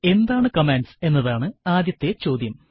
എന്താണ് കമാൻഡ്സ് എന്നതാണ് ആദ്യത്തെ ചോദ്യം